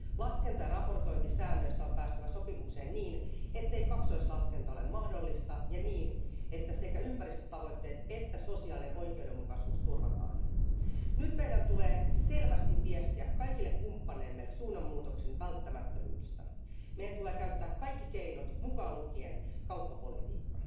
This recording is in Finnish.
Laskenta ja raportointisäännöistä on päästävä sopimukseen niin, ettei kaksoislaskenta ole mahdollista ja että sekä ympäristötavoitteet että sosiaalinen oikeudenmukaisuus turvataan. Nyt meidän tulee selvästi viestiä kaikille kumppaneillemme suunnanmuutoksen välttämättömyydestä. Meidän tulee käyttää kaikki keinot mukaan lukien kauppapolitiikka.